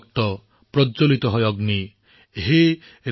আপোনাৰ তেজ জ্বলি উঠিল আৰু বিয়পি পৰিল